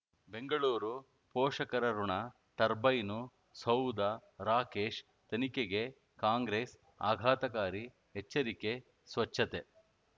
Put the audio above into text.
ಬೆಂಗಳೂರು ಪೋಷಕರಋಣ ಟರ್ಬೈನು ಸೌಧ ರಾಕೇಶ್ ತನಿಖೆಗೆ ಕಾಂಗ್ರೆಸ್ ಆಘಾತಕಾರಿ ಎಚ್ಚರಿಕೆ ಸ್ವಚ್ಛತೆ